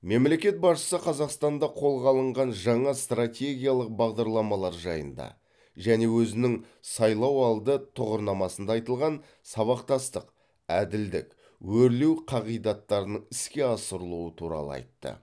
мемлекет басшысы қазақстанда қолға алынған жаңа стратегиялық бағдарламалар жайында және өзінің сайлауалды тұғырнамасында айтылған сабақтастық әділдік өрлеу қағидаттарының іске асырылуы туралы айтты